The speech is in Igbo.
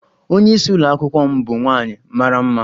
Onye isi Ụlọ akwụkwọ m bụ nwaanyị mara mma.